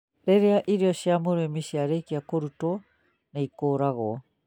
Rĩrĩa irio cia mũrĩmi ciarĩkia kũrutwo, nĩ ikũragwo